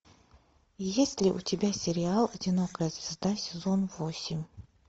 есть ли у тебя сериал одинокая звезда сезон восемь